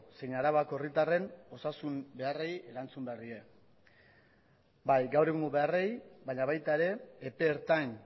zein arabako herritarren osasun beharrei erantzun behar die bai gaur egungo beharrei baina baita ere epe ertain